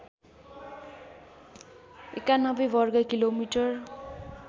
९१ वर्ग किलोमिटर